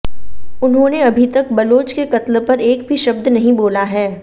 उन्होंने अभीतक बलोच के कत्ल पर एक भी शब्द नहीं बोला है